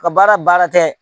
Ka baara baara tɛ